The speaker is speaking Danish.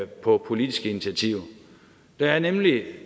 på politiske initiativer der er nemlig